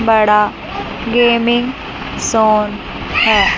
बड़ा gaming sound है।